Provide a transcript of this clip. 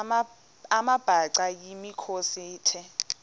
amabhaca yimikhosi the